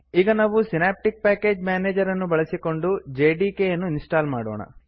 ಈಗ ನಾವು Synaptic package manager ಅನ್ನು ಬಳಸಿಕೊಂಡು ಜೆಡಿಕೆ ಯನ್ನು ಇನ್ಸ್ಟಾಲ್ ಮಾಡೋಣ